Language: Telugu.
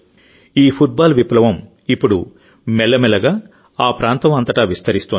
ఈ ఫుట్బాల్ విప్లవం ఇప్పుడు మెల్లమెల్లగా ఆ ప్రాంతం అంతటా విస్తరిస్తోంది